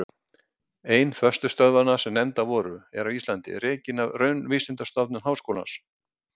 Ein föstu stöðvanna sem nefndar voru, er á Íslandi, rekin af Raunvísindastofnun Háskólans.